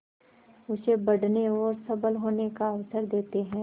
उसे बढ़ने और सबल होने का अवसर देते हैं